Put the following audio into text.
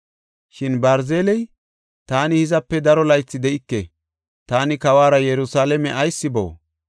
Shin Barziley, “Taani hizape daro laythi de7ike; taani kawuwara Yerusalaame ayis boo?